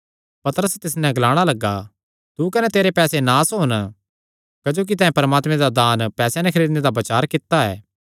पतरस तिस नैं ग्लाणा लग्गा तू कने तेरे पैसे नास होन क्जोकि तैं परमात्मे दा दान पैसेयां नैं खरीदणे दा बचार कित्ता